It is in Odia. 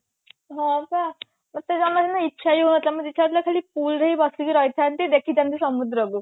ହଁ ବା ମତେ ଜମରୁ ନା ଇଚ୍ଛା ହିଁ ହଉ ନଥିଲା ମତେ ଇଚ୍ଛା ହଉଥିଲା ଖାଲି pool ରେ ହି ବସିକି ରହି ଥାନ୍ତି ଦେଖିଥାନ୍ତି ସମୁଦ୍ରକୁ